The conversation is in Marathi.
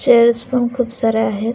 चेअर्स पण खूप साऱ्या आहेत.